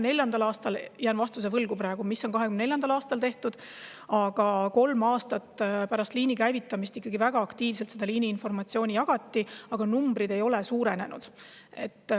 Jään praegu vastuse võlgu, mida on tehtud 2024. aastal, aga kolm aastat pärast liini käivitamist jagati seda informatsiooni väga aktiivselt, ent numbrid ei suurenenud.